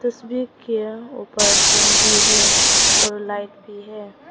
तस्वीर के ऊपर फैन भी है और लाइट भी है।